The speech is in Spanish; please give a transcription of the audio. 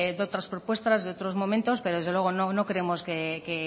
de otras propuestas de otros momento pero desde luego no creemos que